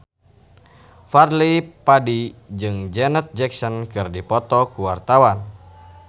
Fadly Padi jeung Janet Jackson keur dipoto ku wartawan